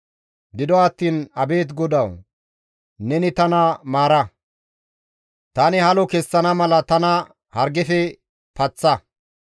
Gido attiin abeet GODAWU! Neni tana maara; tani halo kessana mala tana hargefe paththa.